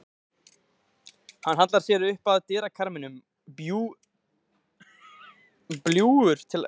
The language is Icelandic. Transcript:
Hann hallar sér upp að dyrakarminum, bljúgur til augnanna.